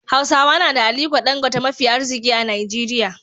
Hausawa na da ALIKO DANGOTE mafi arziki a Najeriya.